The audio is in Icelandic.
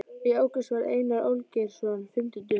Í ágúst varð Einar Olgeirsson fimmtugur.